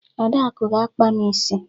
Adaku ga-akpa m isi.